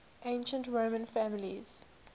ancient roman families